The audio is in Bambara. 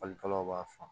Falikalaw b'a faamu